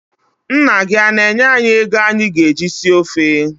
Nna gị ana-enye anyị ego anyị ga-eji si ofe?